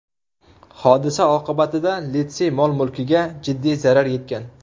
Hodisa oqibatida litsey mol-mulkiga jiddiy zarar yetgan.